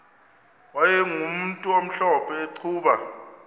wayegumntu omhlophe eqhuba